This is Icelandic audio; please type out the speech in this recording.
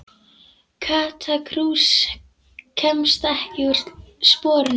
Kata krús kemst ekkert úr sporunum.